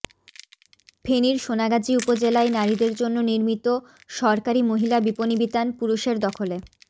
ফেনীর সোনাগাজী উপজেলায় নারীদের জন্য নির্মিত সরকারি মহিলা বিপণিবিতান পুরুষের দখলে